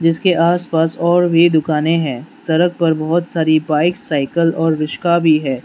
इसके आसपास और भी दुकानें हैं सरक पर बहुत सारी बाइक साइकल और रिस्का भी है।